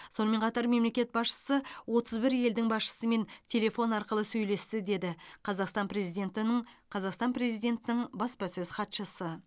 сонымен қатар мемлекет басшысы отыз бір елдің басшысымен телефон арқылы сөйлесті деді қазақстан президентінің қазақстан президентінің баспасөз хатшысы